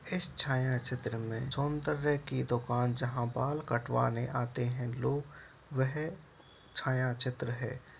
इस छाया छत्र में सौंदर्य की दुकान जहा बाल कटवाने आते है लोग वह छाया छत्र है।